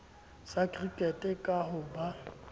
sa cricket ka ho ba